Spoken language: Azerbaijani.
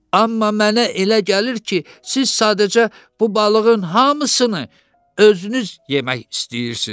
Amma mənə elə gəlir ki, siz sadəcə bu balığın hamısını özünüz yemək istəyirsiz.